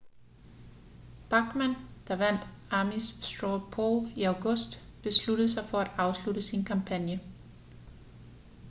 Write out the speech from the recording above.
bachmann der vandt ames straw poll i august besluttede sig for at afslutte sin kampagne